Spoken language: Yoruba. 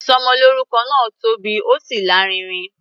Ìsọmọlórúkọ náà tóbi, ó sì lárinrin.